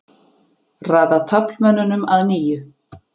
Raða taflmönnunum að nýju.